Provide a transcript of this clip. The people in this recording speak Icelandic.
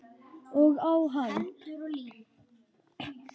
Og á hann.